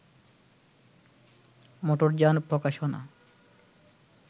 মোটরযান প্রকাশনা